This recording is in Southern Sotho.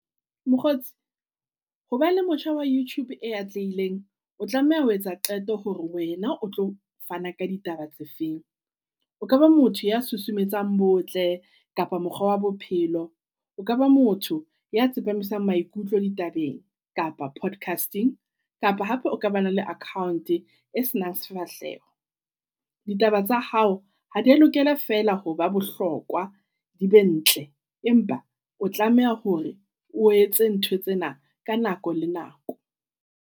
Mokgotsi, hoba le motjha wa Youtube e atlehileng, o tlameha ho etsa qeto hore wena o tlo fana ka ditaba tse feng. O kaba motho ya susumetsang botle kapa mokga wa bophelo O ka ba motho ya tsepamisa maikutlo ditabeng kapa broadcasting kapa hape o ka ba nang le account e senang sefahleho. Ditaba tsa hao ha di lokela fela ho ba bohlokwa di be ntle. Empa o tlameha hore o etse ntho tsena ka nako le nako.